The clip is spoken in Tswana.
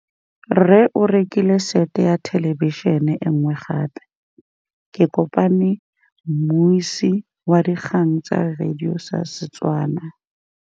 Rre o rekile sete ya thêlêbišênê e nngwe gape. Ke kopane mmuisi w dikgang tsa radio tsa Setswana.